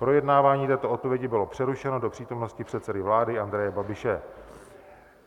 Projednávání této odpovědi bylo přerušeno do přítomnosti předsedy vlády Andreje Babiše.